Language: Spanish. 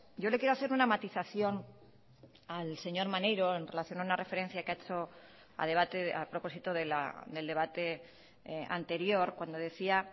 yo le quiero hacer una matización al señor maneiro en relación a una referencia que ha hecho a propósito del debate anterior cuando decía